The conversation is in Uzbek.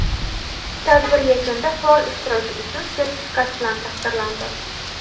tadbir yakunida faol ishtiroki uchun sertifikat bilan taqdirlandi.